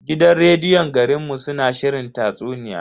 Gidan rediyon garin mu suna shirin tatsuniya.